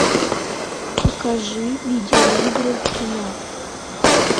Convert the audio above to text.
покажи видеоигры кино